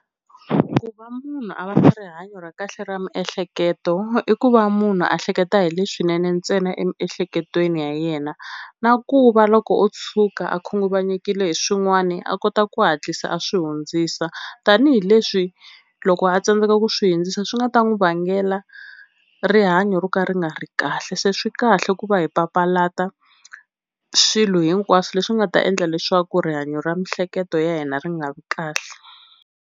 Ku va munhu a va na rihanyo ra kahle ra miehleketo i ku va munhu a hleketa hi leswinene ntsena emiehleketweni ya yena, na ku va loko o tshuka a khunguvanyekile hi swin'wani a kota ku hatlisa a swi hundzisa tanihileswi loko a tsandzeka ku swi hundzisa swi nga ta n'wi vangela rihanyo ro ka ri nga ri kahle. Se swi kahle ku va hi papalata swilo hinkwaswo leswi nga ta endla leswaku rihanyo ra miehleketo ya hina ri nga vi kahle.